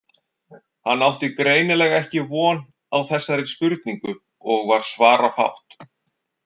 Hann átti greinilega ekki von á þessari spurningu og var svarafátt.